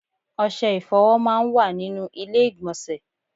Ọṣẹ ìfọ̀wọ máa ń wà nínú ilé ìgbọ̀nsẹ̀.